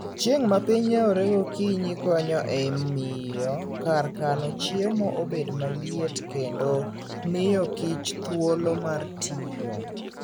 Chieng' ma piny yawore gokinyi konyo e miyo kar kano chiemo obed maliet kendo miyo kich thuolo mar tiyo.